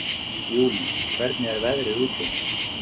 Júlí, hvernig er veðrið úti?